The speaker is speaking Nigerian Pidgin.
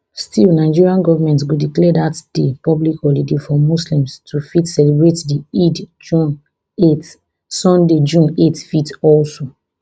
still nigeria goment go declare dat day public holiday for muslims to fit celebrate di id june eight sunday june eight fit also